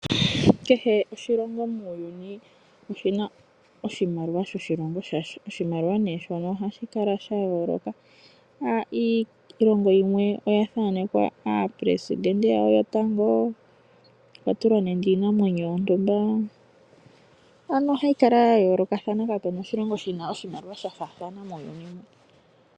Kehe oshilongo muuyuni oshina oshimaliwa shoshilongo shasho oshimaliwa nee shoka ohashi kala sha yooloka iilongo yimwe oyathaanekwa aapelestente yawo yotango nenge okwa tulwa nande iinamwenyo yontuma ano ohayi kala ya yooloka kapena oshilongo shina oshimaliwa sha faathana muuyuni .